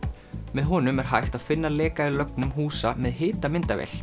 með honum er hægt að finna leka í lögnum húsa með